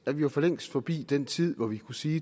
jo for længst forbi den tid hvor vi kunne sige